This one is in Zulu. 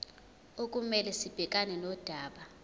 okumele sibhekane nodaba